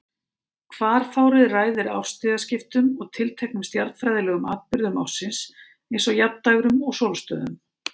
Hvarfárið ræður árstíðaskiptum og tilteknum stjarnfræðilegum atburðum ársins eins og jafndægrum og sólstöðum.